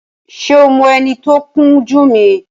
Ṣé o mọ ẹni tí ó ń kun jú mi?